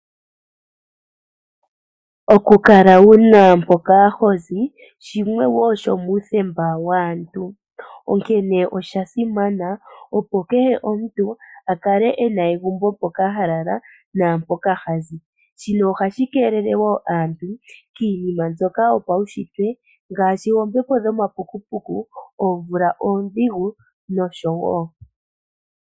Okukala wu na mpoka ho zi, shimwe shomuuthemba waantu. Onkene osha simana opo kehe omuntu a kale e na egumbo mpoka ha lala naampoka ha zi. Shino ohashi keelele wo aantu iinima mbyoka yopaunshitwe ngaashi oombepo dhomapukupuku, oomvula oondhigu nosho tuu.